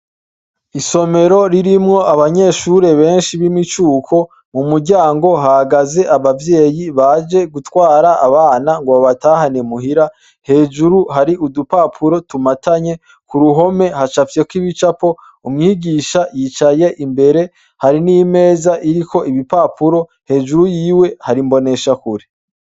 Isomero ririmwo abanyeshure benshi b'imicuko mu muryango hagaze abavyeyi baje gutwara abana ngo batahanemuhira hejuru hari udupapuro tumatanye ku ruhome hacapvyeko ibicapo umwigisha yicaye imbere hari n'imeza iriko ibipapuro hejuru yiwe harimbonesha kuri.